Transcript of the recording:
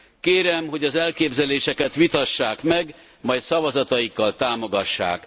Kérem, hogy az elképzeléseket vitassák meg, majd szavazatikkal támogassák!